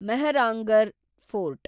Mehrangarh fort